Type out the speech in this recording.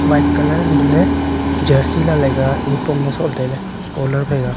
white colour hantohley jersey lailai ka nipong ne sohla tailey collar phaika.